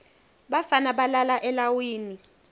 bafana balala elawini